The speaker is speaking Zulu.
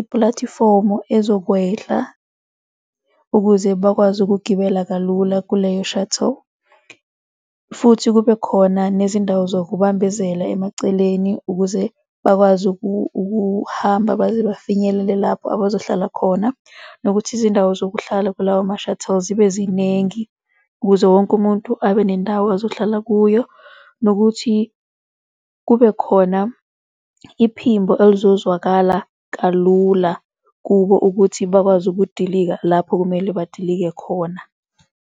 ipulatifomu azokwehla ukuze bakwazi ukugibela kalula kuleyo shuttle, futhi kube khona nezindawo zokubambezela emaceleni ukuze bakwazi ukuhamba baze bafinyelele lapho abazohlala khona, nokuthi izindawo zokuhlala kulawo ma-shuttle zibe ziningi ukuze wonke umuntu abe nendawo azohlala kuyo, nokuthi kubekhona iphimbo elizozwakala kalula kubo ukuthi bakwazi ukudilika lapho kumele badilike khona.